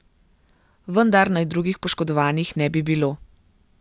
Vendar naj drugih poškodovanih ne bi bilo.